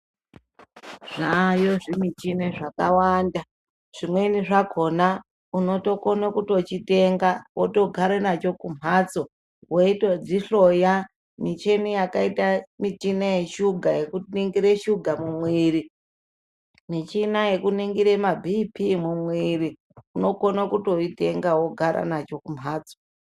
Zvayo zvimuchina zvakawanda, chimweni chakona unokone kutochitenga wotogare nacho kumhatso weitodzihloya, michini yakaita michina yeshuga yekuningire shuga munwiri michina yekuningire maBP mumwiri unokone kutoitenga wogare nacho kumbatso.